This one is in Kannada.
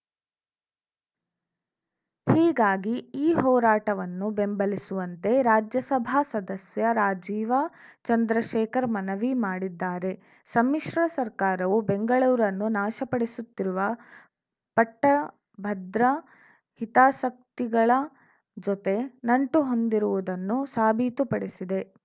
ಹೀಗಾಗಿ ಈ ಹೋರಾಟವನ್ನು ಬೆಂಬಲಿಸುವಂತೆ ರಾಜ್ಯಸಭಾ ಸದಸ್ಯ ರಾಜೀವ ಚಂದ್ರಶೇಖರ್‌ ಮನವಿ ಮಾಡಿದ್ದಾರೆ ಸಮ್ಮಿ ಶ್ರ ಸರ್ಕಾರವು ಬೆಂಗಳೂರನ್ನು ನಾಶಪಡಿಸುತ್ತಿರುವ ಪಟ್ಟಭದ್ರ ಹಿತಾಸಕ್ತಿಗಳ ಜೊತೆ ನಂಟು ಹೊಂದಿರುವುದನ್ನು ಸಾಬೀತುಪಡಿಸಿದೆ